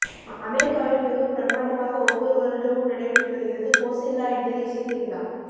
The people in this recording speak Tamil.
அமெரிக்காவில் மிகவும் பிரமாண்டமாக ஒவ்வொரு வருடமும் நடைபெற்று வருகிறது கோசெல்லா என்கிற இசை திருவிழா